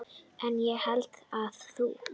En ég hélt að þú.